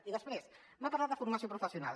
i després m’ha parlat de formació professional